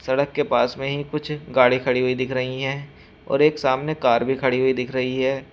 सड़क के पास में ही कुछ गाड़ी खड़ी हुई दिख रही हैं और एक सामने कार भी खड़ी हुई दिख रही है।